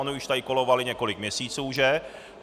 Ony už tady kolovaly několik měsíců, že?